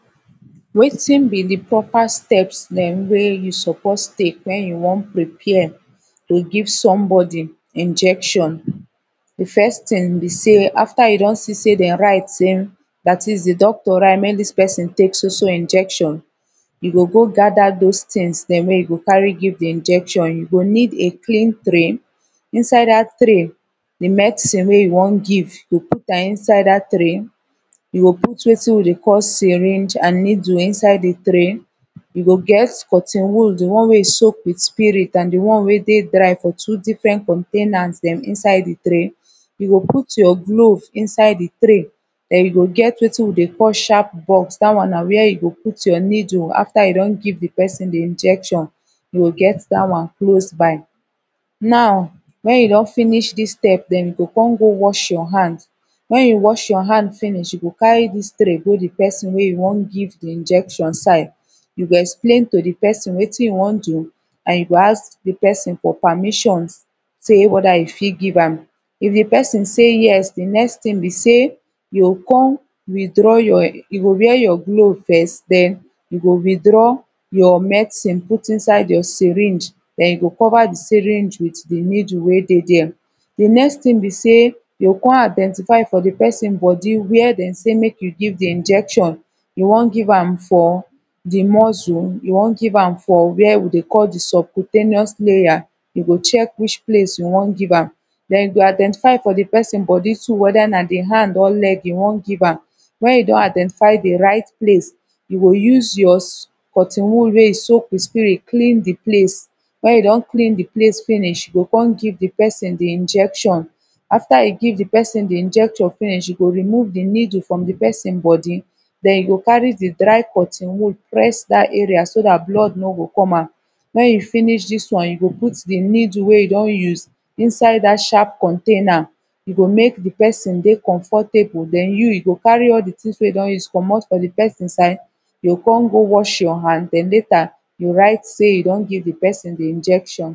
wetin bi de proper steps dem wey yu suppose tek wen yu wan prepare to give sombodi injection de first tin bi sey afta yu don si sey dem write sey dat is de dokita write sey mek dis pesin tek so so injection e go go gather those tins dem wey e go cari give de injection yu go nid a cklin tray inside dat tray de medicine wey you wan give yu go put am inside dat tray you go put wetin wi de call syringe an needle inside de tray you go get cotton wool de one wey yu soak wit spirit an de one wey dey dry fo two difren containers dem inside de tray yu go put yur gloves inside de tray den you go get wetin wi de call sharp box dat one na where you go de put your needle afta you don give de pesin de injection yu go get dat one close by now wen yu don finish dis step dem go cum go wash your han wen yu wash your han finish you go cari dis tray go de pesin wey you wan give de injection side you go explain to de pesin wetin yu wan do an yu go ask de pesin fo permision ee weta you fit give am if de pesin sey yes de next tin bi sey yu go cum yu go cum withdraw yu go wear yur gloves first den yu go withdraw yur medcine put inside your syringe den you go cova de syringe wit de needle wey dey dere e next tin bi sey you go cum identify fo de pesin bodi were dem sey mek mek you give de injection you wan give am fo yu wan give am fo de muscle you wan give am fo were wi de call de supplitemous laya you go check which place you wan give am den you go identify fo de pesin bodi too weta na de han or leg yu wan give am wen you don identify de rit place you go use your cotton wool wey you soak wit spirit clin de place wen yu don clin de place finish yu go cum give de pesin de injection afta yu give de pesin de injection finish yu go remove de needle frum de pesin bodi en you go cari de dry cotton wool press dat area so dat blood no go com out wen yu finish did one yu go put de needle wey you wan use inside dat sharp container u go mek de pesin de comfortable den yu yu go cari al de tins wey yu don use comot fo de pesin side you go cum go wash yur han den lata yu write sey yu don give de pesin de injection